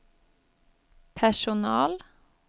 personal